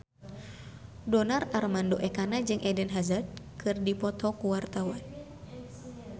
Donar Armando Ekana jeung Eden Hazard keur dipoto ku wartawan